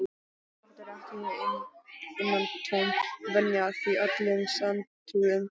Þetta er ekki innantóm venja, því öllum sanntrúuðum